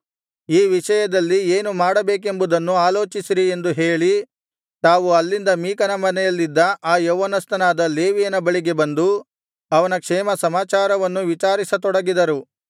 ಈ ವಿಷಯದಲ್ಲಿ ಏನು ಮಾಡಬೇಕೆಂಬುದನ್ನು ಆಲೋಚಿಸಿರಿ ಎಂದು ಹೇಳಿ ತಾವು ಅಲ್ಲಿಂದ ಮೀಕನ ಮನೆಯಲ್ಲಿದ್ದ ಆ ಯೌವನಸ್ಥನಾದ ಲೇವಿಯನ ಬಳಿಗೆ ಬಂದು ಅವನ ಕ್ಷೇಮಸಮಾಚಾರವನ್ನು ವಿಚಾರಿಸ ತೊಡಗಿದರು